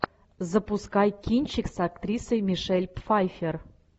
запускай кинчик с актрисой мишель пфайффер